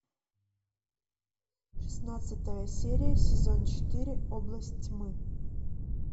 шестнадцатая серия сезон четыре область тьмы